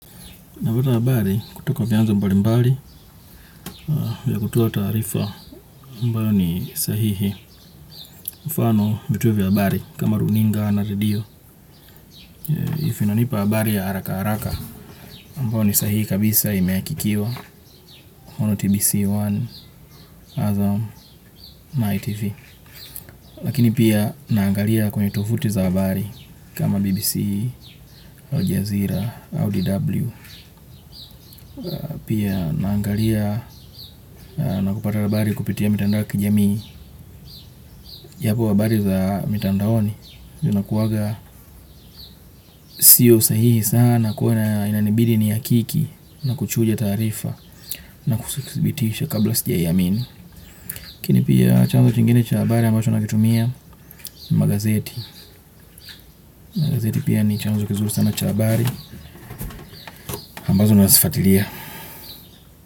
Napata habari kutoka vyanza mbali mbali vya kutoa taarifa ambayo ni sahihi. Mfano vituo vya habari kama runinga na radio. If inanipa habari ya haraka haraka ambao ni sahihi kabisa imeakikiwa. Ono TBC One, Azam, My TV. Lakini pia naangalia kwenye tovuti za habari kama BBC, Ojazira, Audi W. Pia naangalia nakupata habari kupitia mitandao ya kijamii ya po habari za mitandaoni zina kuwaga siyo sahihi sana kwa io inanibidi ni hakiki na kuchuja taarifa na kusibitisha kabla sijaiamini lakini pia chanzo chingine cha habari ambacho nakitumia ni magazeti magazeti pia ni chanzo kizuli sana chabari ambazo nasifatilia.